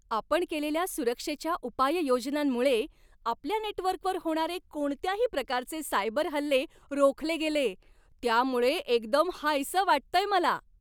आपण केलेल्या सुरक्षेच्या उपाययोजनांमुळे आपल्या नेटवर्कवर होणारे कोणत्याही प्रकारचे सायबर हल्ले रोखले गेले, त्यामुळे एकदम हायसं वाटतंय मला.